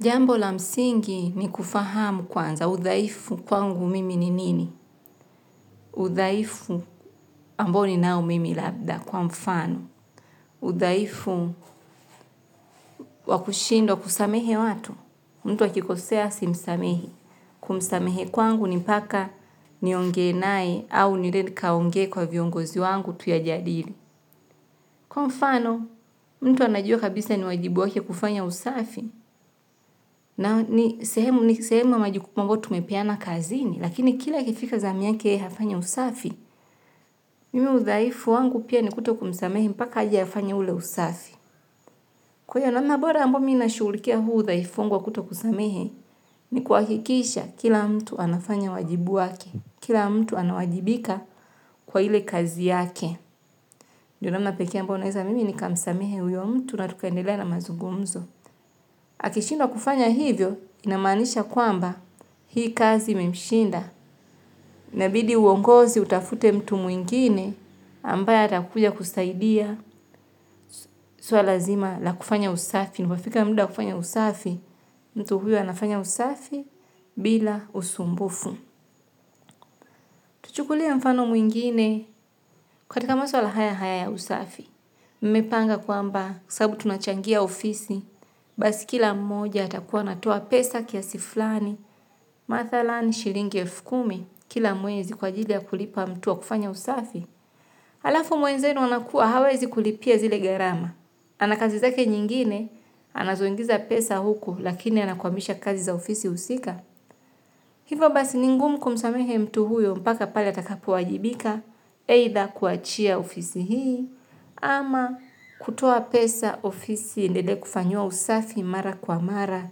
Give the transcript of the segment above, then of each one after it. Jambo la msingi ni kufahamu kwanza. Udaifu kwangu mimi ni nini. Udaifu ambo ninao mimi labda kwa mfano. Udaifu wakushindo kusamehe watu. Mtu akikosea simsamehi. Kumsamehe kwangu nimpaka nionge nae au niende nikaonge kwa viongozi wangu tuya jadili. Kwa mfano, mtu anajua kabisa ni wajibu wake kufanya usafi, na ni sehemu na majukumu ambao tumepeana kazini, lakini kila ikifika zami yake ya hafanya usafi, mimi udhaifu wangu pia ni kuto kumsamehe mpaka aje hafanye ule usafi. Kwa iyo namna bora ambayo mi nashugulikia huu udhaifu wangu wa kuto kusamehe, ni kuakikisha kila mtu anafanya wajibu wake, kila mtu anawajibika kwa hile kazi yake. Ndo namna pekee ambayo naeza mimi nikamsamehe huyo mtu na tukendelea na mazugumzo. Akishindwa kufanya hivyo, inamaanisha kwamba hii kazi imemshinda. Inabidi uongozi utafute mtu muingine ambaye atakuja kusaidia suala zima la kufanya usafi. Inapofika mda wa kufanya usafi, mtu huyo anafanya usafi bila usumbufu. Tuchukulie mfano mwingine katika masuala haya haya ya usafi. Mepanga kwamba sabu tunachangia ofisi, basi kila mmoja atakuwa anaoa pesa kiasi flani, mathalani shilingi elfu kumi, kila mwezi kwa ajili ya kulipa mtu wa kufanya usafi. Halafu mwenzenu anakuwa hawezi kulipia zile gharama. Anakazi zake nyingine, anazoingiza pesa huku lakini anakuamisha kazi za ofisi usika. Hivo basi ni ngumu kumsamehe mtu huyo mpaka pale atakapo ajibika eitha kuachia ofisi hii ama kutoa pesa ofisi iendelee kufanyiwa usafi mara kwa mara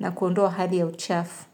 na kuondoa hali ya uchafu.